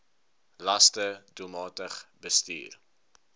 laste doelmatig bestuur